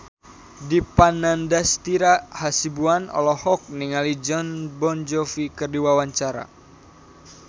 Dipa Nandastyra Hasibuan olohok ningali Jon Bon Jovi keur diwawancara